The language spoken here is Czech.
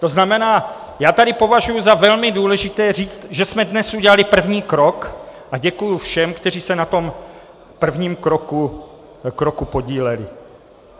To znamená, já tady považuji za velmi důležité říct, že jsme dnes udělali první krok, a děkuji všem, kteří se na tom prvním kroku podíleli.